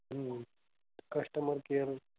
हम्म customer care.